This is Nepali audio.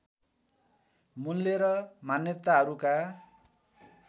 मूल्य र मान्यताहरूका